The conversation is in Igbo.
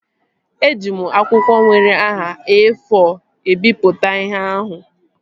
Eji m akwụkwọ nwere nhá E-fọ ebipụta ihe ahụ